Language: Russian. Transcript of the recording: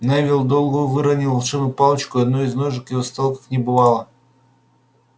невилл долгопупс выронил волшебную палочку и одной из ножек его стола как не бывало